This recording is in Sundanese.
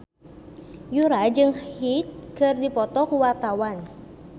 Yura jeung Hyde keur dipoto ku wartawan